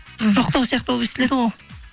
жоқтау сияқты болып естіледі ол